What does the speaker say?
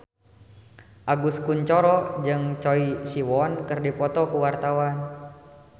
Agus Kuncoro jeung Choi Siwon keur dipoto ku wartawan